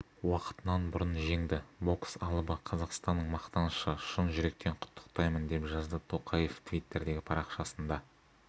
уақытынан бұрын жеңді бокс алыбы қазақстанның мақтанышы шын жүректен құттықтаймын деп жазды тоқаев твиттердегі парақшасында